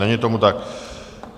Není tomu tak.